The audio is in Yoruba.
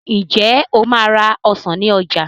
Ǹjẹ́ o máa ra ọsàn ní ọjà